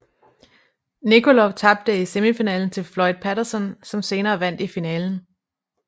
Nikolov tabte i semifinalen til Floyd Patterson som senere vandt i finalen